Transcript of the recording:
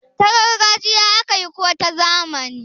ta gargajiya aka yi ko ta zamani?